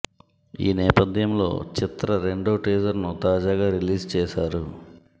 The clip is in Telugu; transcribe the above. ఈ నేపథ్యం లో చిత్ర రెండో టీజర్ ను తాజాగా రిలీజ్ చేసారు